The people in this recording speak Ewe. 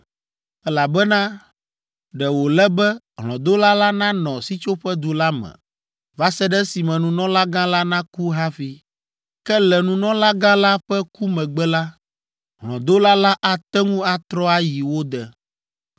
elabena ɖe wòle be hlɔ̃dola la nanɔ sitsoƒedu la me va se ɖe esime nunɔlagã la naku hafi. Ke le nunɔlagã la ƒe ku megbe la, hlɔ̃dola la ate ŋu atrɔ ayi wo de.